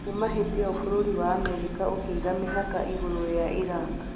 Kuuma hĩndĩ ĩyo Bũrũri wa Amerika ũkĩiga mĩhaka igũrũ rĩa Iraq